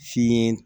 Fiɲɛ